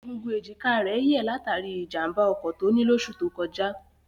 Egungun èjìká rẹ̀ yẹ̀ látàrí ìjàmbá ọkọ̀ tó ní lóṣù tó kọjá.